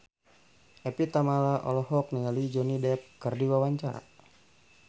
Evie Tamala olohok ningali Johnny Depp keur diwawancara